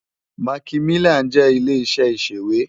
Màkímilán jè ilé iṣè iṣéwé